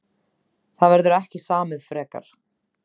Það verður ekki samið frekar